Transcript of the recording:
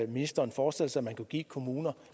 ministeren forestiller sig man kunne give kommuner